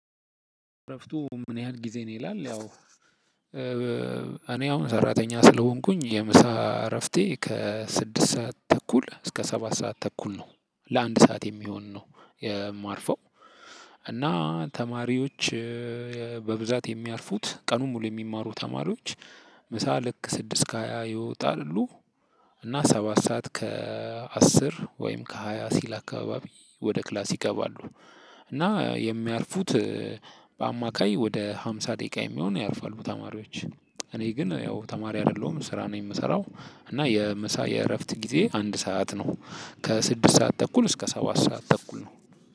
እረፍቱ ምን ያህል ጊዜ ነው? ይላል ያው እኔ አሁን ሰራተኛ ስለሆንኩኝ የምሳ እረፍቴ ከስድስት ሰዓት ተኩል እስከ ሰባት ሰዓት ተኩል ነው። ለአንድ ሰዓት የሚሆን ነው የማርፈው። እና ተማሪዎች በብዛት የሚያርፉት ቀኑን ሙሉ የሚማሩ ተማሪዎች ምሳ ልክ ስድስት ከሃያ ይወጣሉ። እና ሰባት ሰዓት ከአስር ወይም ከሃያ ሲል አካባቢ ወደ ክላስ ይገባሉ። እና የሚያርፉት በአማካይ ወደ ሃምሳ ደቂቃ የሚሆን ያርፋሉ ተማሪዎች። እኔ ግን ያው ተማሪ አይደለሁም ስራ ነው የምሰራው እና የምሳ የእረፍት ጊዜ አንድ ሰዓት ነው። ከስድስት ሰዓት ተኩል እስከ ሰባት ሰዓት ተኩል ነው።